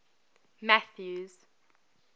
mathews